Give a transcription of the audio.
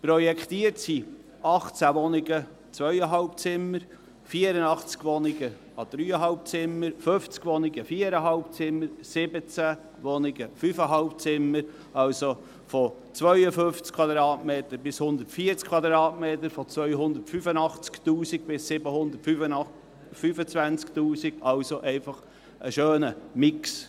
Projektiert sind 18 2,5-Zimmerwohnungen, 84 3,5-Zimmerwohnungen, 50 4,5-Zimmerwohnungen, 17 5,5-Zimmerwohnungen, also von 52 bis 140 Quadratmetern, von 285 000 bis 725 000, also ein schöner Mix.